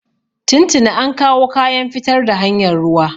Tun tuni an kawo kayan fitar da hanyar ruwa.